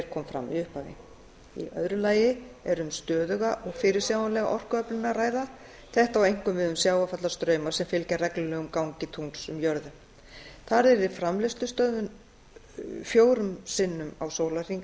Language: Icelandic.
kom fram í upphafi í öðru lagi er um stöðuga og fyrirsjáanlega orkuöflun að ræða þetta á einkum við um sjávarfallastrauma sem fylgja reglulegum gangi tungls um jörðu þar yrði framleiðslustöðvun fjórum sinnum á sólarhring